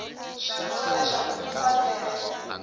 swi vula leswaku ku fanele